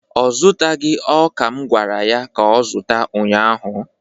ọ zụtaghị ọka m gwara ya ka ọ zụta ụnyahụ?